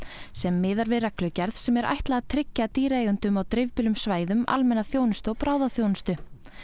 sem miðar við reglugerð sem er ætlað að tryggja dýraeigendum á dreifbýlum svæðum almenna þjónustu og bráðaþjónustu